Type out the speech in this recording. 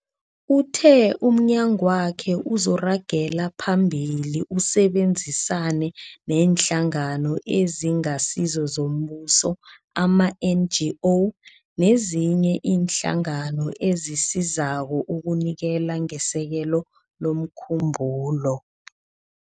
Uthe umnyagwakhe uzoragela phambili usebenzisane neeNhlangano eziNgasizo zoMbuso, ama-NGO, nezinye iinhlangano ezisizako ukunikela ngesekelo lomkhumbulo.